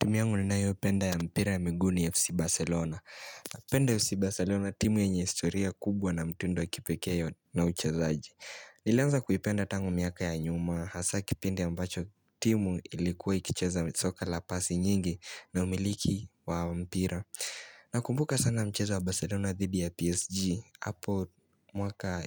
Timu yangu ninayoipenda ya mpira ya miguu ni FC Barcelona Napenda FC Barcelona timu yenye historia kubwa na mtindo wa kipekee na uchezaaji Nilianza kuipenda tango miaka ya nyuma Hasaa kipindi ambacho timu ilikuwa ikicheza soka la pasi nyingi na umiliki wa mpira na kumbuka sana mcheza wa Barcelona dhidi ya PSG Apo mwaka